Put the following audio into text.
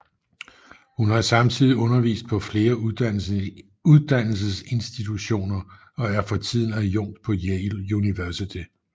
Hun har samtidig undervist på flere uddannelsesinstitutioner og er for tiden adjunkt på Yale University